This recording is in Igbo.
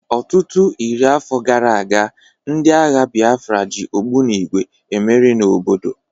Ọtụtụ iri afọ gara aga, ndị agha Biafra ji ogbunigwe emere n'obodo